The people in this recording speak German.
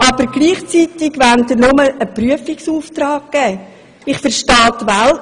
Aber gleichzeitig wollen Sie nur einen Prüfungsauftrag erteilen.